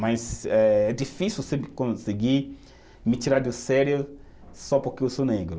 Mas é difícil sempre conseguir me tirar do sério só porque eu sou negro.